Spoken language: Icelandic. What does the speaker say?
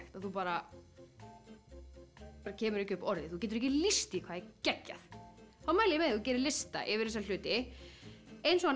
að þú bara kemur ekki upp orði þú getur ekki líst því hvað það geggjað þá mæli ég þú gerir lista yfir þessa hluti eins og hann